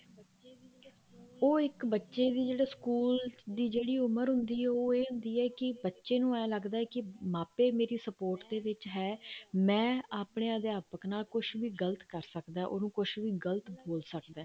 ਉਹ ਇੱਕ ਬੱਚੇ ਦੀ ਜਿਹੜੀ ਸਕੂਲ ਦੀ ਜਿਹੜੀ ਉਮਰ ਹੁੰਦੀ ਆ ਉਹ ਇਹ ਹੁੰਦੀ ਆ ਕੀ ਬੱਚੇ ਨੂੰ ਏਵੇਂ ਲੱਗਦਾ ਵੀ ਮਾਪੇ ਮੇਰੀ support ਦੇ ਵਿੱਚ ਹੈ ਮੈਂ ਆਪਣੇ ਅਧਿਆਪਕ ਨਾਲ ਕੁੱਛ ਵੀ ਗਲਤ ਕਰ ਸਕਦਾ ਉਹਨੂੰ ਕੁੱਛ ਵੀ ਗਲਤ ਬੋਲ ਸਕਦਾ